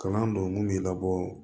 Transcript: Kalan don mun bɛ labɔ